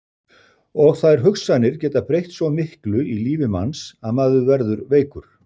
Og þær hugsanir geta breytt svo miklu í lífi manns að maður verður veikur.